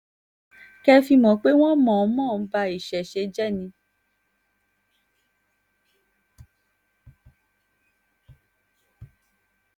kẹ́ ẹ fi mọ̀ pé wọ́n ń mọ̀-ọ́n-mọ̀ ba ìṣẹ̀ṣẹ̀ jẹ́ ni